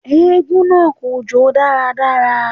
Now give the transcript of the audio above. Eégún náà kò jó dáradára